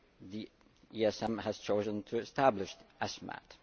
The ESM has chosen to establish the ESMAT.